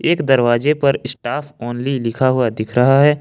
एक दरवाजे पर स्टाफ ओनली लिखा हुआ दिख रहा है।